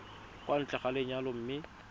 kwa ntle ga lenyalo mme